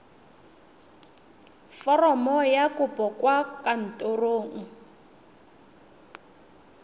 foromo ya kopo kwa kantorong